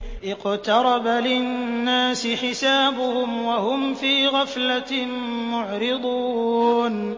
اقْتَرَبَ لِلنَّاسِ حِسَابُهُمْ وَهُمْ فِي غَفْلَةٍ مُّعْرِضُونَ